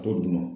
d'u ma